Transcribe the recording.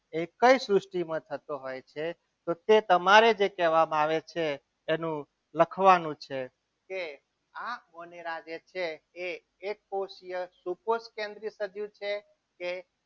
એ કઈ સૃષ્ટિમાં થતો હોય છે. તો તે તમારે જે કહેવામાં આવે છે એનું લખવાનું છે કે આ છે એ એક કોષીય સુકોષી સજીવ છે. કે